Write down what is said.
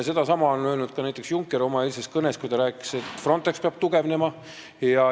Sedasama ütles ka näiteks Juncker oma eilses kõnes, kui ta rääkis, et Frontex peab tugevnema.